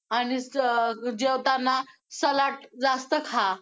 आणि अं ~ जेवताना सलाड जास्त खा.